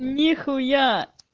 нихуя